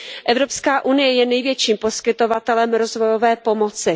Evropská unie je největším poskytovatelem rozvojové pomoci.